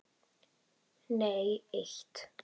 Nei eitt.